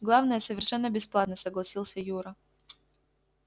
главное совершенно бесплатно согласился юра